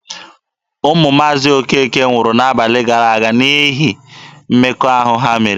Ụmụ Maazi Okeke nwụrụ n'abalị gara aga n'ihu mmekọahụ ha mere.